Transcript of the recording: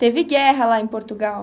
Teve guerra lá em Portugal.